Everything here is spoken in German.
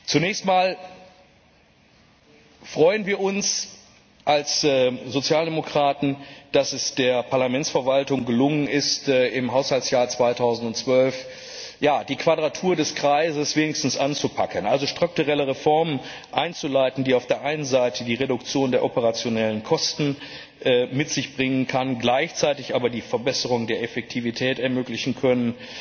Zunächst einmal freuen wir uns als Sozialdemokraten, dass es der Parlamentsverwaltung gelungen ist, im Haushaltsjahr 2012 die Quadratur des Kreises wenigstens anzupacken, also strukturelle Reformen einzuleiten, die auf der einen Seite die Reduktion der operationellen Kosten mit sich bringen können, gleichzeitig aber die Verbesserung der Effektivität ermöglichen können